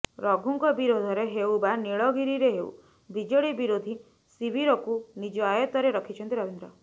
ରଘୁଙ୍କ ବିରୋଧରେ ହେଉ ବା ନୀଳଗିରିରେ ହେଉ ବିଜେଡି ବିରୋଧୀ ଶିବିରକୁ ନିଜ ଆୟତ୍ତରେ ରଖିଛନ୍ତି ରବୀନ୍ଦ୍ର